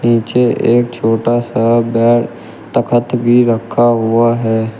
नीचे एक छोटा सा बेड तखत भी रखा हुआ है।